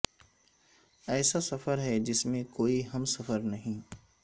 ایسا سفر ہے جس میں کو ئی ہمسفر نہیں